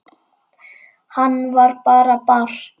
Hann var bara barn.